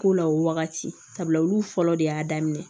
Ko la o wagati sabula olu fɔlɔ de y'a daminɛ